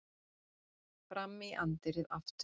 Fram í anddyrið aftur.